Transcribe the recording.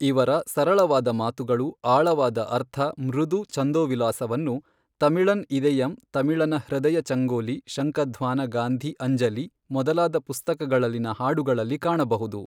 ಇವರ ಸರಳವಾದ ಮಾತುಗಳು ಆಳವಾದ ಅರ್ಥ ಮೃದು ಛಂದೋವಿಲಾಸವನ್ನು ತಮಿಳನ್ ಇದೆಯಂ ತಮಿಳನ ಹೃದಯ ಚಂಗೋಲಿ ಶಂಖಧ್ವಾನ ಗಾಂಧಿ ಅಂಜಲಿ ಮೊದಲಾದ ಪುಸ್ತಕಗಳಲ್ಲಿನ ಹಾಡುಗಳಲ್ಲಿ ಕಾಣಬಹುದು.